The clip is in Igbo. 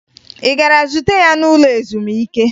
Ị gara zute ya n'ụlọ ezumike?